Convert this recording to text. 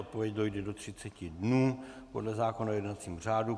Odpověď dojde do 30 dnů podle zákona o jednacím řádu.